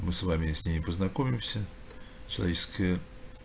мы с вами и с ней познакомимся человеческая